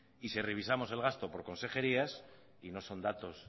y si revisamos el gasto por conserjerías y no son datos